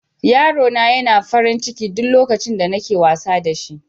yaro na yana farin ciki duk lokacin da nake wasa da shi.